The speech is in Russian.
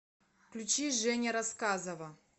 включи женя рассказова